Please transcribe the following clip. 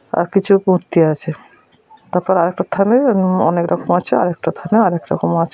আর কিছু মূর্তি আছে। তারপর আর একটা থামে এরম অনেকরকম আছে আর একটা থামে আরেকরকম আছে।